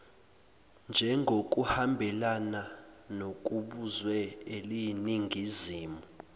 njengokuhambelana nokubuzwe eliyiningizimu